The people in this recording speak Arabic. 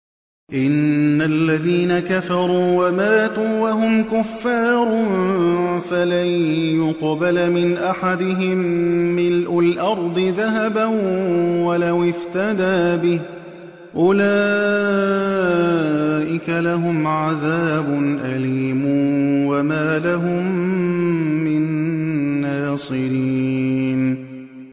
إِنَّ الَّذِينَ كَفَرُوا وَمَاتُوا وَهُمْ كُفَّارٌ فَلَن يُقْبَلَ مِنْ أَحَدِهِم مِّلْءُ الْأَرْضِ ذَهَبًا وَلَوِ افْتَدَىٰ بِهِ ۗ أُولَٰئِكَ لَهُمْ عَذَابٌ أَلِيمٌ وَمَا لَهُم مِّن نَّاصِرِينَ